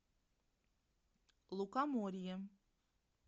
лукоморье